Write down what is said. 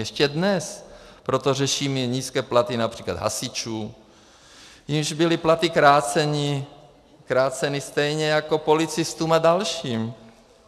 Ještě dnes proto řešíme nízké platy například hasičů, jimž byly platy kráceny stejně jako policistům a dalším.